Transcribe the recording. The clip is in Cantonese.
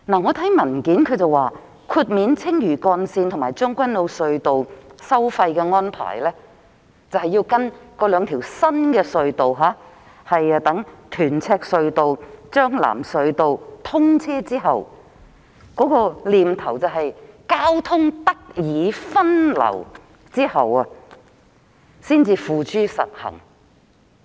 政府的文件指出，豁免青嶼幹線及將軍澳隧道的使用費的安排，將在屯赤隧道和將藍隧道兩條新隧道通車時實施，意即在交通得以分流後，才付諸實行。